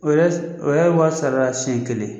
O o yɛrɛ ye wari sar'a la senɲɛ kelen.